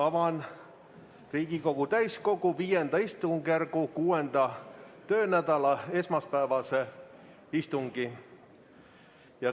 Avan Riigikogu täiskogu V istungjärgu 6. töönädala esmaspäevase istungi.